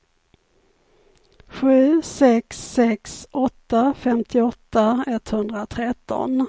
sju sex sex åtta femtioåtta etthundratretton